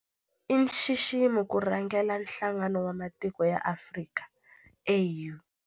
I nxiximo ku rhangela Nhlangano wa Matiko ya Afrika, AU.